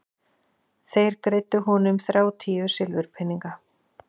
En þeir greiddu honum þrjátíu silfurpeninga.